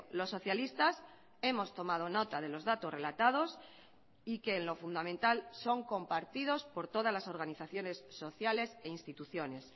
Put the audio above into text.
los socialistas hemos tomado nota de los datos relatados y que en lo fundamental son compartidos por todas las organizaciones sociales e instituciones